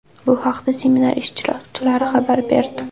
Bu haqda seminar ishtirokchilari xabar berdi.